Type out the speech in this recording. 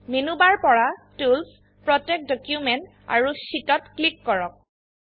menu bar পৰা tools protect document আৰু শিটত ক্লিক কৰক